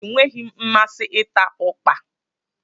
Enweghị m mmasị ịta ukpa